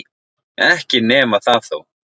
Ekki nema það þó.